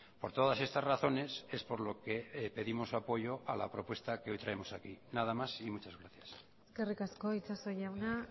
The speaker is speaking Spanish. por todas estas razones es por lo que pedimos apoyo a la propuesta que hoy traemos aquí nada más y muchas gracias eskerrik asko itxaso jauna